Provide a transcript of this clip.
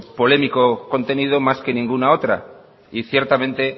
polémico contenido más que ninguna otra y ciertamente